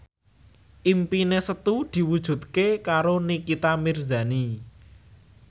impine Setu diwujudke karo Nikita Mirzani